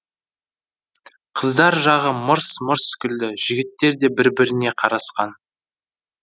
қыздар жағы мырс мырс күлді жігіттер де бір біріне қарасқан